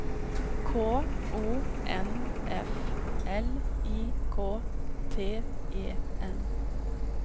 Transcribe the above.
K O N F L I K T E N